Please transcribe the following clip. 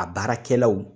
A baarakɛlaw